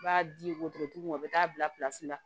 I b'a di wotorotigiw ma o bɛ taa bilasira